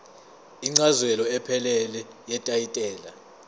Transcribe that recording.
incazelo ephelele yetayitela